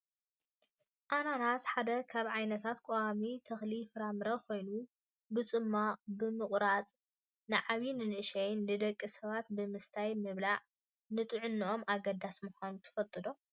ኣናናስ ሓደ ካብ ዓይነታት ቆዋሚ ተክሊ ፍራምረ ኮይኑ፣ ብፅሟቅን ብምቁራፅን ንዓብይን ንእሽተይን ደቂ ሰባት ብምስታይን ብምብላዕን ንጥዕንኡ ኣገዳሲ ምኳኑ ትፈልጡ ዶ?